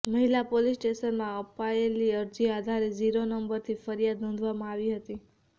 મહિલા પોલીસ સ્ટેશનમાં અપાયેલી અરજી આધારે ઝીરો નંબરથી ફરિયાદ નોંધવામાં આવી હતી